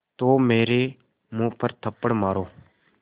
तो मेरे मुँह पर थप्पड़ मारो